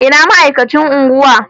Ina ma'aikacin unguwa?